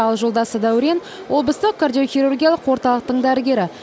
ал жолдасы дәурен облыстық кардиохирургиялық орталықтың дәрігері